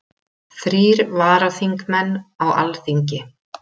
Þrír varaþingmenn á Alþingi